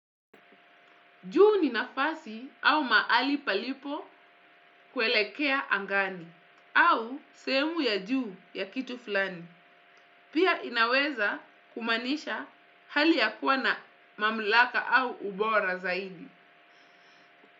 Juu ni nafasi au mahali palipo kuelekea angani au sehemu ya juu ya kitu fulani. Pia inaweza kumaanisha hali ya kuwa na mamlaka au ubora zaidi.